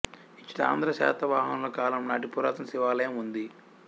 ఇచట ఆంధ్ర శాతవాహనుల కాలం నాటి పురాతన శివాలయం ఉంది